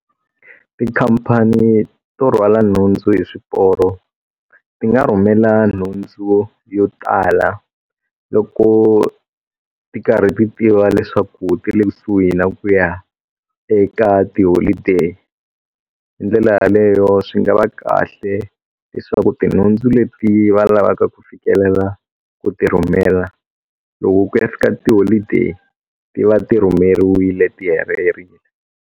Tikhampani to rhwala nhundzu hi swiporo ti nga rhumela nhundzu yo tala loko ti karhi ti tiva leswaku ti le kusuhi na ku ya eka ti holiday hi ndlela yaleyo swi nga va kahle leswaku tinhundzu leti va lavaka ku fikelela ku ti rhumela loku ku ya fika ti holiday ti va ti rhumeriwile ti helerile.